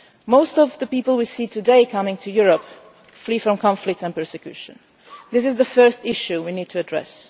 Most of the people we see today coming to Europe are fleeing from conflict and persecution. This is the first issue we need to address.